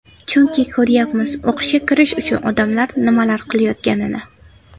Chunki ko‘ryapmiz o‘qishga kirish uchun odamlar nimalar qilayotganini.